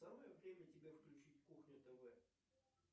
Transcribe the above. самое время тебе включить кухню тв